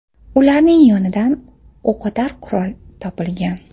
Ularning yonidan o‘qotar qurol topilgan.